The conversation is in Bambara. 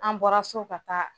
An bɔra so ka taa